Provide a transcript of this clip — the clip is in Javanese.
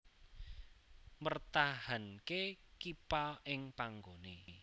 Mpertahanke kippa ing panggone